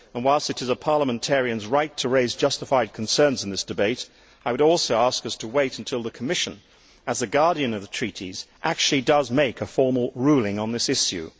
Whilst it is a parliamentarian's right to raise justified concerns in this debate, I would also ask us to wait until the Commission, as the guardian of the treaties, actually makes a formal ruling on this issue.